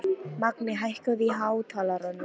Magney, hækkaðu í hátalaranum.